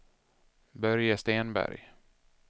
Börje Stenberg